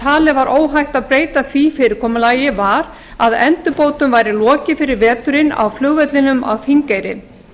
talið var óhætt að beita því fyrirkomulagi var að endurbótum væri lokið fyrir veturinn á flugvellinum á þingeyri